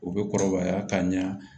U bɛ kɔrɔbaya ka ɲa